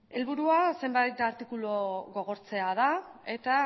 helburua zenbait artikulu gogortzea da eta